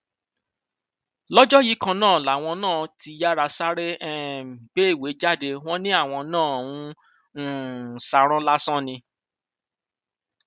lọjọ yìí kan náà làwọn náà ti yáa sáré um gbé ìwé jáde wọn ni àwọn nna ń um ṣarán lásán ni